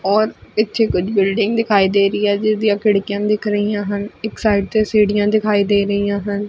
ਔਰ ਨੀਚੇ ਕੁਝ ਬਿਲਡਿੰਗ ਦਿਖਾਈ ਦੇ ਰਹੀ ਹੈ ਜਿਸਦੀਆਂ ਖਿੜਕੀਆਂ ਦਿਖ ਰਹੀਆਂ ਹਨ ਇੱਕ ਸਾਈਡ ਤੇ ਸੀੜੀਆਂ ਦਿਖਾਈ ਦੇ ਰਹੀਆ ਹਨ।